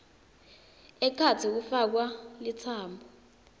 ekhatsi kufakwa litsambo